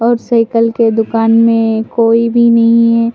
और साइकिल के दुकान में कोई भी नहीं है।